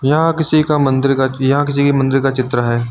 यहां किसी का मंदिर का यहां किसी का मंदिर का चित्र है।